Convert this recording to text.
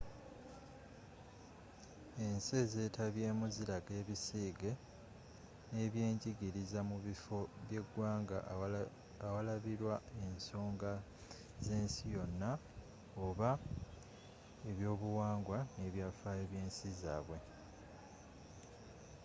ensi ezetabyemu ziraga ebisiige nebyenjigiriza mu biffo byegwanga awalabirwa ensonga zensi yona oba ebyobuwangwa n'ebyafaayo byensi zabwe